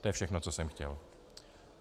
To je všechno, co jsem chtěl.